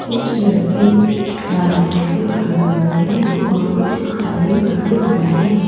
कुछ लड़के बाइकों से खड़े हुए हैं और कुछ खाली खड़े हुए हैं।